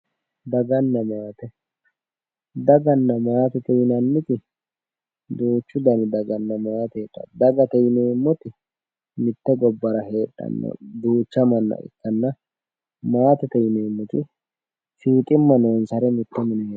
Daganna maate, daganna maate yinanniti duuchu dani dagana maate heedhano ,dagate yineemmoti mite gobbara heedhanota duucha manna ikkanna, maatete yineemmoti fiixima noonsareti